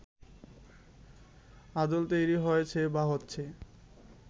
আদল তৈরি হয়েছে বা হচ্ছে